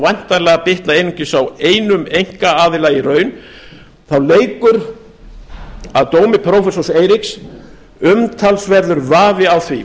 væntanlega bitna einungis á einum einkaaðila í raun þá leikur að dómi prófessors eiríks umtalsverður vafi á því